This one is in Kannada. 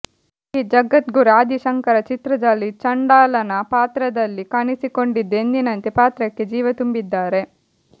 ಶ್ರೀಜಗದ್ಗುರು ಆದಿ ಶಂಕರ ಚಿತ್ರದಲ್ಲಿ ಚಂಡಾಲನ ಪಾತ್ರದಲ್ಲಿ ಕಾಣಿಸಿಕೊಂಡಿದ್ದು ಎಂದಿನಂತೆ ಪಾತ್ರಕ್ಕೆ ಜೀವ ತುಂಬಿದ್ದಾರೆ